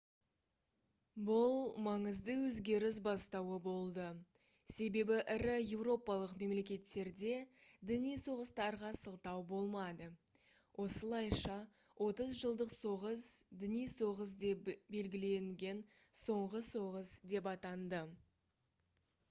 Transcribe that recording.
бұл маңызды өзгеріс бастауы болды себебі ірі еуропалық мемлекеттерде діни соғыстарға сылтау болмады осылайша отыз жылдық соғыс діни соғыс деп белгіленген соңғы соғыс деп атанды